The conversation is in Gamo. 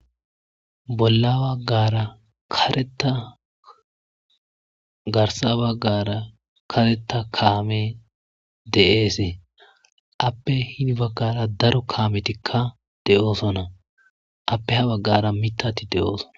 Bola bagara kareta garisa bagara kareta kame de'as ape hini bagara daro kametika deosona ape ha bagara mitati de'osona.